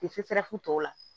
Te serafu tɔw la